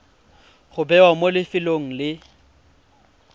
go bewa mo lefelong le